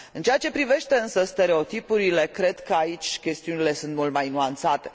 În ceea ce privește însă stereotipurile, cred că aici chestiunile sunt mult mai nuanțate.